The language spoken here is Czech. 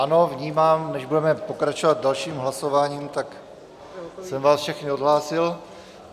Ano, vnímám, než budeme pokračovat dalším hlasováním, tak jsem vás všechny odhlásil.